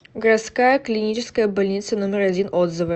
городская клиническая больница номер один отзывы